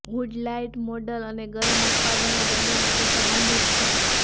hood light model અને ગરમ ઉત્પાદનો બંને માટે સંબંધિત છે